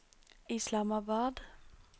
Islamabad